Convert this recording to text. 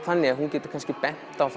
þannig að hún getur bent á